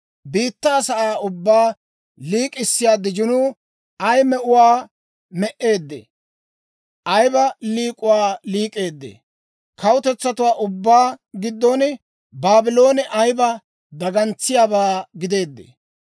Biittaa sa'aa ubbaa liik'issiyaa dijinuu ay me'uwaa me"eeddee! Ayiba liik'uwaa liik'eedee! Kawutetsatuwaa ubbaa giddon Baabloone ayiba dagantsiyaabaa gideedee!